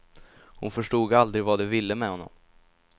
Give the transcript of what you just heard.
Hon förstod aldrig vad de ville med honom.